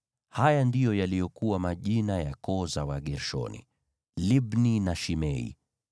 Haya ndiyo yaliyokuwa majina ya koo za Wagershoni: Libni na Shimei.